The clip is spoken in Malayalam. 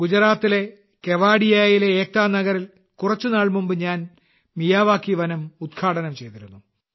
ഗുജറാത്തിലെ കേവഡിയാറിലെ ഏക്താ നഗറിൽ കുറച്ചുനാൾ മുമ്പ് ഞാൻ മിയാവാക്കി വനം ഉദ്ഘാടനം ചെയ്തിരുന്നു